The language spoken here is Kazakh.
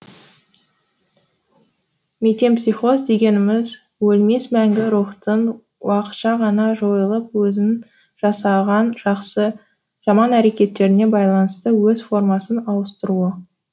метемпсихоз дегеніміз өлмес мәңгі рухтың уақытша ғана жойылып өзінің жасаған жақсы жаман әрекеттеріне байланысты өз формасын ауыстыруы